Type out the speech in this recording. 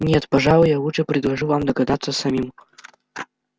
нет пожалуй я лучше предложу вам догадаться самим